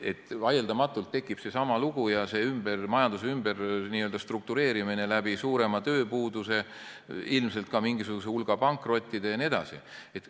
Vaieldamatult tekib seesama lugu, majanduse ümberstruktureerimine, suurem tööpuudus, ilmselt ka mingisugune hulk pankrotte jne.